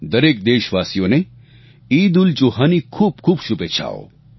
દરેક દેશવાસીઓને ઈદઉલજુહાની ખૂબખૂબ શુભેચ્છાઓ